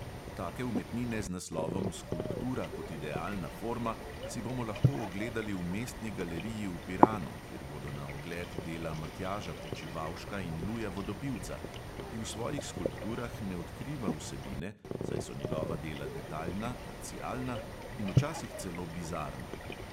Take umetnine z naslovom skulptura kot idealna forma si bomo lahko ogledali v mestni galeriji v piranu, kjer bodo na ogled dela matjaža počivavška in luja vodopivca, ki v svojih skulpturah ne odkriva vsebine, saj so njegova dela detaljna, parcialna in včasih celo bizarna.